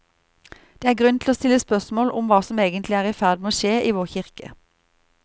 Det er grunn til å stille spørsmål om hva som egentlig er i ferd med å skje i vår kirke.